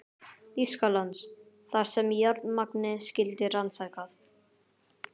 Þýskalands, þar sem járnmagnið skyldi rannsakað.